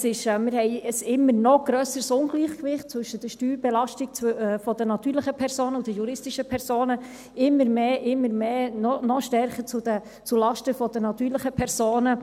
Wir haben immer noch ein grösseres Ungleichgewicht zwischen der Steuerbelastung der natürlichen Personen und der juristischen Personen – immer mehr, immer mehr, noch stärker zulasten der natürlichen Personen.